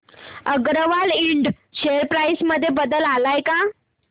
अगरवाल इंड share price मध्ये बदल आलाय का